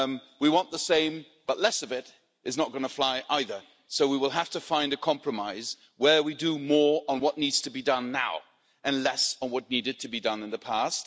We want the same, but less of it, is not going to fly either, so we will have to find a compromise where we do more on what needs to be done now and less on what needed to be done in the past.